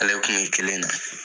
Ale kun bi kelen na.